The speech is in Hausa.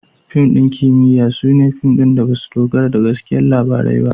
Fim ɗin kimiyya su ne fim da ba su dogara da gaskiyar labarai ba.